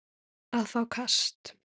að fá kast